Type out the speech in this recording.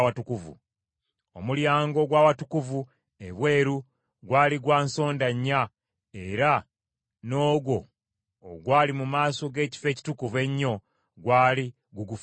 Omulyango ogw’Awatukuvu ebweru gwali gwa nsonda nnya era n’ogwo ogwali mu maaso g’Ekifo Ekitukuvu Ennyo gwali gugufaanana